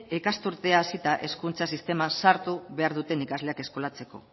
ikasturtea hasita hezkuntza sisteman sartu behar duten ikasleak eskolatzeko